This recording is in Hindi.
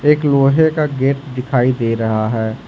एक लोहे का गेट दिखाई दे रहा है।